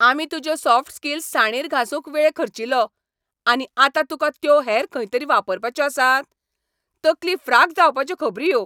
आमी तुज्यो soft skills साणीर घासूंक वेळ खर्चिलो, आनी आतां तुका त्यो हेर खंयतरी वापरपाच्यो आसात? तकली फ्राक जावपाच्यो खबरी ह्यो!